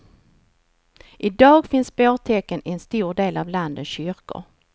I dag finns bårtäcken i en stor del av landets kyrkor.